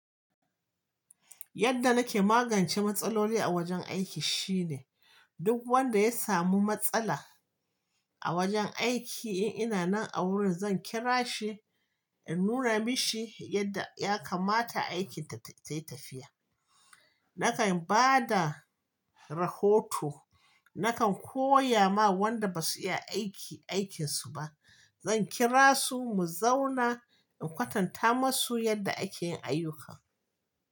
Yadda nake magance matsaloli a wajen aiki shine duk wanda ya samu matsala a wajen aiki in ina nan a wurin zan kira shi in nuna mashi yadda ya kamata aikin ta yi tafiya. Nakan ba da rahoto, nakan koya ma wanda ba su iya aiki aikin su ba. Zan kira su mu zauna in kwatanta masu yadda ake yin ayyukan.